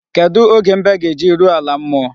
Kedụ oge mbe ga-eji ruo ala mmuo?